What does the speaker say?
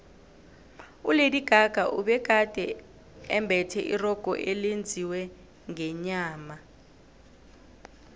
ulady gaga ubegade embethe irogo elenziwe ngenyama